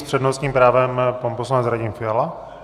S přednostním právem pan poslanec Radim Fiala.